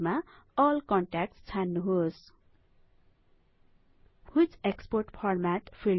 फिल्डमा all contacts छान्नुहोस् which export format